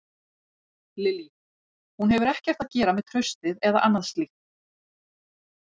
Lillý: Hún hefur ekkert að gera með traustið eða annað slíkt?